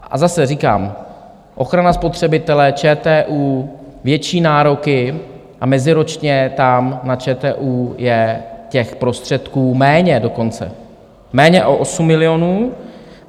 A zase říkám, ochrana spotřebitele, ČTÚ, větší nároky, a meziročně tam na ČTÚ je těch prostředků méně dokonce, méně o 8 milionů.